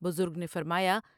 بزرگ نے فرمایا ۔